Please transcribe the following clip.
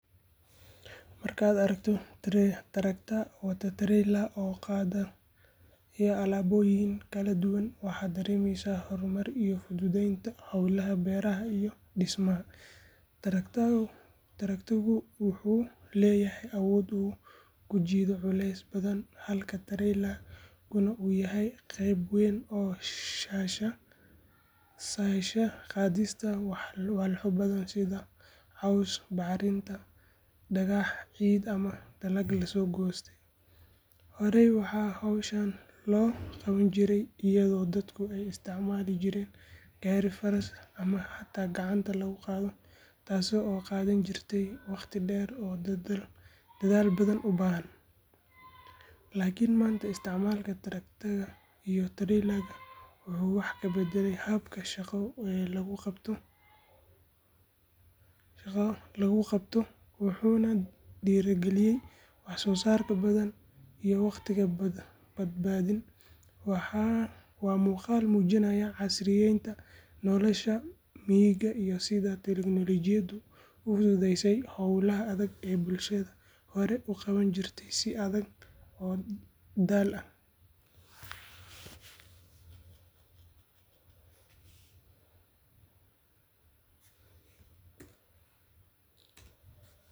Markaad aragto traktor wata treyler oo qaadaya alaabooyin kala duwan waxaad dareemaysaa horumar iyo fududeynta howlaha beeraha iyo dhismaha. Traktor-ku wuxuu leeyahay awood uu ku jiido culaysyo badan halka treyler-kuna uu yahay qayb weyn oo sahasha qaadista walxo badan sida caws, bacriminta, dhagax, ciid ama dalag la goostay. Horey waxaa howshan loo qaban jiray iyadoo dadku ay isticmaali jireen gaari faras ama xataa gacanta lagu qaado, taas oo qaadan jirtay waqti dheer oo dadaal badan u baahnaa. Laakiin maanta isticmaalka traktor-ka iyo treyler-ka wuxuu wax ka beddelay habka shaqo lagu qabto, wuxuuna dhiraygeliyaa wax-soo-saar badan iyo waqti badbaadin. Waa muuqaal muujinaya casriyeynta nolosha miyiga iyo sida teknoolojiyaddu u fududeysay howlaha adag ee bulshadu hore u qaban jirtay si adag oo daal leh.